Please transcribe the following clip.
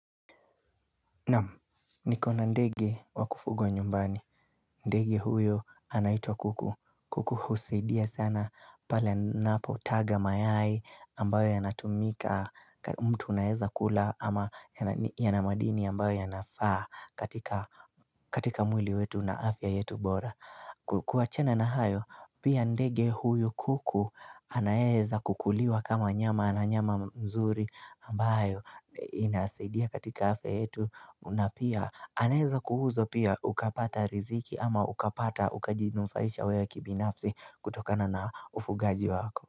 Nam, nikona ndege wakufuga nyumbani, ndege huyo anaitwa kuku, kuku husidia sana pale napo taga mayai ambayo yanatumika, mtu unaeza kula ama yanamadini ambayo yanafaa katika katika mwili wetu na afya yetu bora. Kua chena na hayo, pia ndege huyu kuku anaeza kukuliwa kama nyama na nyama mzuri ambayo inasaidia katika afya yetu na pia anaeza kuuzwa pia ukapata riziki ama ukapata ukajinufaisha wewe kibinafsi kutokana na ufugaji wako.